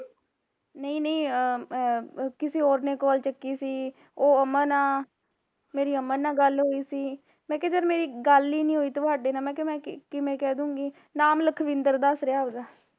ਨਹੀਂ ਨਹੀਂ ਇਹ ਕਿਸੇ ਹੋਰ ਨੇ call ਚੱਕੀ ਸੀ, ਉਹ ਅਮਨ ਆ ਮੇਰੀ ਅਮਨ ਨਾਲ ਗੱਲ ਹੋਈ ਸੀ, ਮੈਂ ਕਿਹਾ ਮੇਰੀ ਜਦ ਗੱਲ ਨੀ ਹੋਈ ਤੁਹਾਡੇ ਨਾਲ ਮੈਂ ਕਿਹਾ ਮੈਂ ਕਿਵੇ ਕਹਿਦੂਗੀ, ਨਾਮ ਲਖਵਿੰਦਰ ਦੱਸ ਰਿਹਾ ਆਪਣਾ